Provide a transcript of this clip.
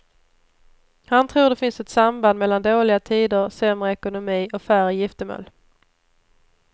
Han tror det finns ett samband mellan dåliga tider, sämre ekonomi och färre giftermål.